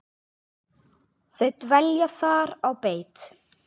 Þau dvelja þar á beit.